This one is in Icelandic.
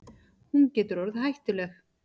Hún getur orðið hættuleg.